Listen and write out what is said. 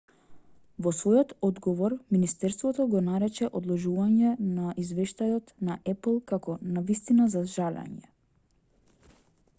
во својот одговор министерството го нарече одложувањето на извештајот на apple како навистина за жалење